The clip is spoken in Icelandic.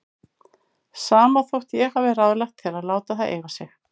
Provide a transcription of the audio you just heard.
Sama þótt ég hafi ráðlagt þér að láta það eiga sig.